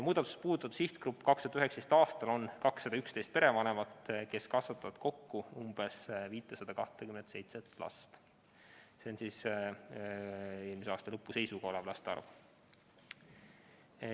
Muudatus puudutab järgmist sihtgruppi: 2019. aastal on meil olnud 211 perevanemat, kes kasvatavad kokku umbes 527 last, see on aasta lõpu seisuga.